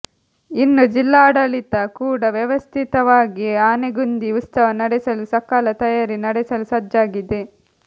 ಇನ್ನು ಜಿಲ್ಲಾಡಳಿತ ಕೂಡ ವ್ಯವಸ್ಥಿತವಾಗಿ ಆನೆಗುಂದಿ ಉತ್ಸವ ನಡೆಸಲು ಸಕಲ ತಯಾರಿ ನಡೆಸಲು ಸಜ್ಜಾಗಿದೆ